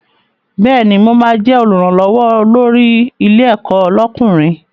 Bẹ́ẹ̀ni, mo ma jẹ́ Olùrànlọ́wọ́ olórí ilé ẹ̀kọ́ lọ́kùnrin